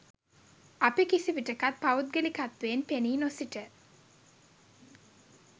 අපි කිසිවිටකත් පෞද්ගලිකත්වයෙන් පෙනී නොසිට